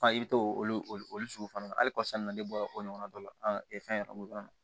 i bɛ to olu sugu fana na halisa nɔ ne bɔra o ɲɔgɔnna dɔ la fɛn yɔrɔ na